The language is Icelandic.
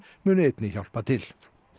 muni einnig hjálpa til